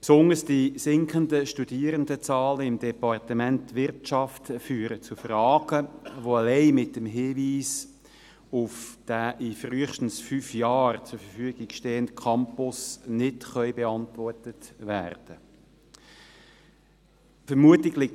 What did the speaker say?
Besonders die sinkenden Studierendenzahlen im Departement Wirtschaft führen zu Fragen, die allein mit dem Hinweis auf den frühestens in fünf Jahren zur Verfügung stehenden Campus nicht beantwortet werden können.